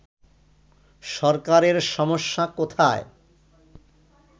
সরকারের সমস্যা কোথায়